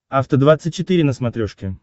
афта двадцать четыре на смотрешке